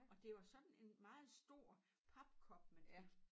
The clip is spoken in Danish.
Og det var sådan en meget stor papkop man fik